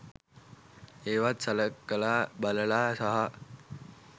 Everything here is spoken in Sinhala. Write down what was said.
ඒවත් සලකලා බලලා සහ